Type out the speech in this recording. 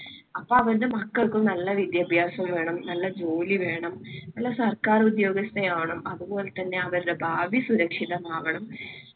അപ്പൊ അവരുടെ മക്കൾക്കും നല്ല വിദ്യാഭ്യാസം വേണം. നല്ല ജോലി വേണം. നല്ല സർക്കാർഉദ്യോഗസ്ഥ ആവണം. അതുപോലെതന്നെ അവരുടെ ഭാവി സുരക്ഷിതമാകണം.